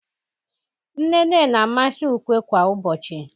nnene na-amasi ukwe kwa ubochi.